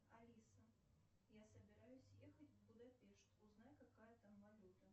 алиса я собираюсь ехать в будапешт узнай какая там валюта